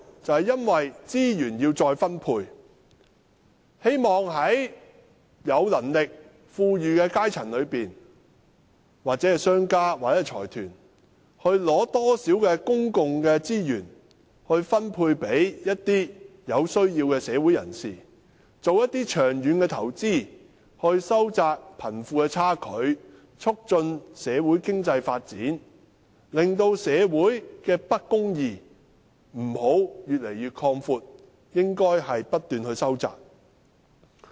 就是因為要將資源再分配，希望從有能力、富裕的階層，或者從商家、財團取得公共資源，以分配予社會上有需要的人士，並進行長遠的投資來收窄貧富的差距，促進經濟發展，令社會的不公義不會擴闊，而是不斷收窄。